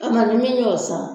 An kani min y'o san.